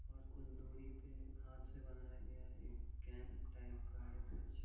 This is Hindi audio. और कुछ दुरी पे हाथ से बनाया गया एक केम्प टाईप का है कुछ।